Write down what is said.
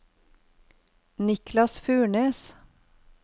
Niklas Furnes